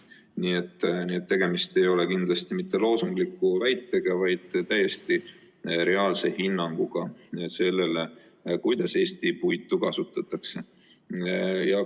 Nii et tegemist ei ole kindlasti mitte loosungliku väitega, vaid täiesti reaalse hinnanguga sellele, kuidas Eesti puitu kasutatakse.